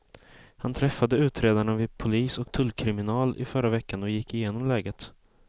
Han träffade utredarna vid polis och tullkriminal i förra veckan och gick igenom läget.